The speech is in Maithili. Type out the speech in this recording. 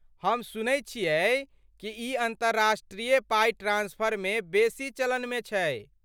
हम सुनैत छियै कि ई अन्तर्राष्ट्रीय पाइ ट्रांस्फरमे बेसी चलनमे छै?